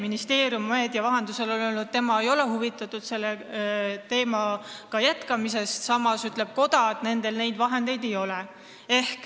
Ministeerium on meedia vahendusel öelnud, et tema ei ole huvitatud selle teemaga edasiminekust, koda aga kinnitab, et nendel seda raha ei ole.